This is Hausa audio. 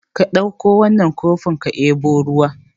Ka dauko wannan kofin ka debo ruwa